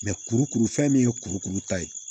kurukuru fɛn min ye kurukuru ta ye